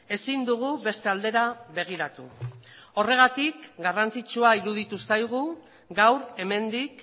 ezin dugu beste aldera begiratu horregatik garrantzitsua iruditu zaigu gaur hemendik